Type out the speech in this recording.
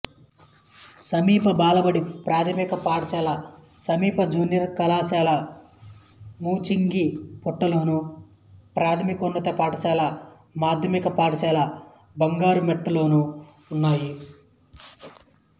సమీప బాలబడి ప్రాథమిక పాఠశాల సమీప జూనియర్ కళాశాల ముంచింగిపుట్టులోను ప్రాథమికోన్నత పాఠశాల మాధ్యమిక పాఠశాల బంగారుమెట్టలోనూ ఉన్నాయి